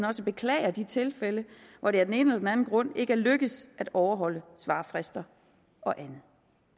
også beklager de tilfælde hvor det af den ene eller den anden grund ikke er lykkedes at overholde svarfrister og andet